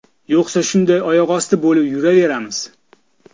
Yo‘qsa shunday oyoqosti bo‘lib yuraveramiz.